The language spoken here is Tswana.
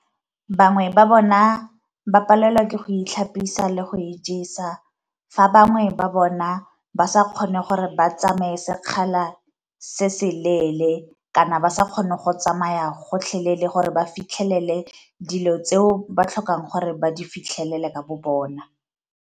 Bangwe ba bona ba palelwa ke go itlhapisa le go ijesa, fa bangwe ba bona ba sa kgone gore ba tsamaye sekgala se se leele kana ba sa kgone go tsamaya gotlhelele gore ba fitlhelele dilo tseo ba tlhokang gore ba di fitlhelele ka bo bona.